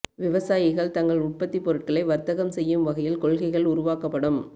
விவசாயிகள் தங்கள் உற்பத்தி பொருட்களை வர்த்தகம் செய்யும் வகையில் கொள்கைகள் உருவாக்கப்படும்